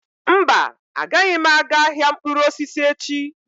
Mba, agaghị m aga ahịa mkpụrụ osisi echi.